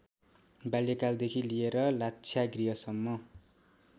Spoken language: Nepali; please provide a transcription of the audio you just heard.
बाल्यकालदेखि लिएर लाक्षागृहसम्म